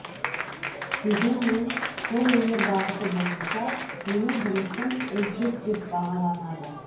дегенмен қолөнер бағыты бойынша менің жұмысым үздік деп бағаланады